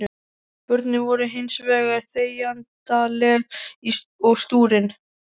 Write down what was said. Börnin voru hins vegar þegjandaleg og stúrin.